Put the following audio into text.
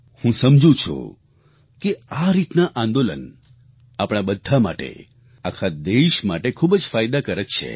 હું સમજુ છું કે આ રીતના આંદોલન આપણા બધા માટે આખા દેશ માટે ખૂબ જ ફાયદાકારક છે